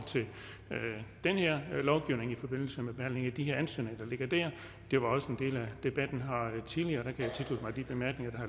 den her lovgivning i forbindelse med behandlingen af de her ansøgninger der ligger der det var også en del af debatten tidligere jeg kan tilslutte mig de bemærkninger der